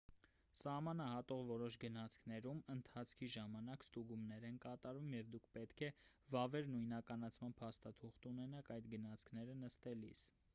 սահմանը հատող որոշ գնացքներում ընթացքի ժամանակ ստուգումներ են կատարվում և դուք պետք է վավեր նույնականացման փաստաթուղթ ունենաք այդ գնացքները նստելիս